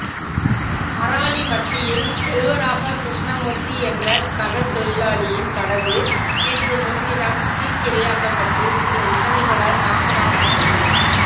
அராலி மத்தியில் செல்வராசா கிருஷ்ணமூர்த்தி என்ற கடற்றொழிலாளியின் படகு நேற்றுமுன்தினம் தீக்கிரையாக்கப்பட்டு சில விசமிகளால் நாசமாக்கப்பட்டது